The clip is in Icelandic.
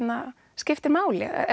skiptir máli ef